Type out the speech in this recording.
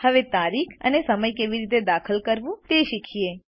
હવે તારીખ અને સમય કેવી રીતે દાખલ કરવું તે શીખીએ